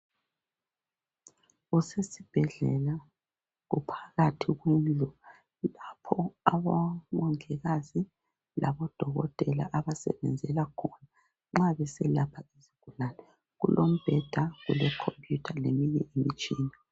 Kusesibhedlela, kuphakathi kwendlu lapho odokotela labomongikazi abasebenzela khona nxa beselapha izigulane. Kulombheda, lekhompuyutha, leminye imitshina.